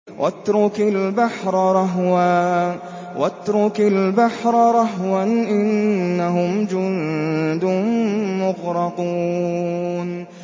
وَاتْرُكِ الْبَحْرَ رَهْوًا ۖ إِنَّهُمْ جُندٌ مُّغْرَقُونَ